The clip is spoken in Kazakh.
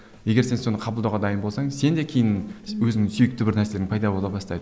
егер сен соны қабылдауға дайын болсаң сен де кейін өзіңнің сүйікті бір нәрсең пайда бола бастайды